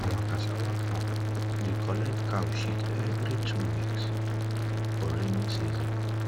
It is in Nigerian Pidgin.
awa cassava farm dey collet cow shit every two weeks for raining season